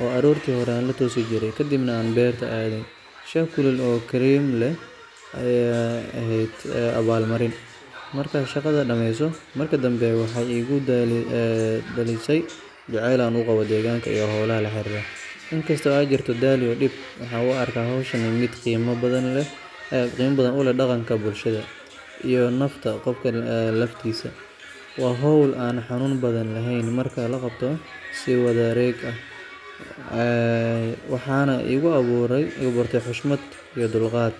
oo aroortii hore aan la toosi jiray, kadibna aan beerta aadaynay. Shaah kulul oo kareem leh ayaa ahayd abaalmarin, markaad shaqada dhameyso. Markii dambe, waxay igu dhalisay jacayl aan u qabo deegaanka iyo hawlaha la xiriira. Inkastoo ay jirto daal iyo dhib, waxaan u arkaa hawshan mid qiimo badan u leh dhaqanka, bulshada, iyo nafta qofka laftiisa. Waa hawl aan xanuun badan lahayn marka la qabto si wadareed ah, waxaana igu abuurtay xushmad iyo dulqaad.